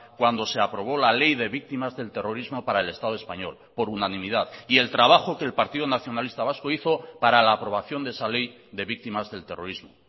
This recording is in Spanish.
cuando se aprobó la ley de víctimas del terrorismo para el estado español por unanimidad y el trabajo que el partido nacionalista vasco hizo para la aprobación de esa ley de víctimas del terrorismo